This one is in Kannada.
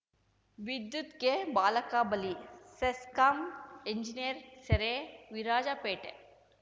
ವಿದ್ಯುತ್ ಗೆ ಬಾಲಕ ಬಲಿ ಸೆಸ್ಕಾಂ ಎಂಜಿನಿಯರ್‌ ಸೆರೆ ವಿರಾಜಪೇಟೆ